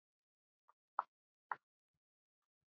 Megi moldin verða honum létt.